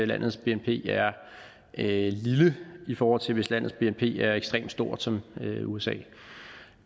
landets bnp er lille i forhold til hvis landets bnp er ekstremt stort som i usa